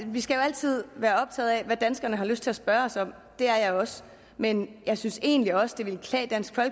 vi skal jo altid være optaget af hvad danskerne har lyst til at spørge os om og det er jeg også men jeg synes egentlig også det ville klæde dansk